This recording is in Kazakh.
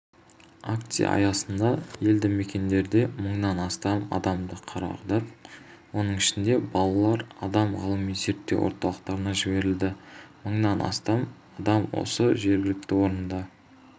акция аясында елді мекендерде мыңнан астам адамды қарадық оның ішінде балалар адам ғылыми-зерттеу орталықтарына жіберілді мыңнан астам адам осы жергілікті орында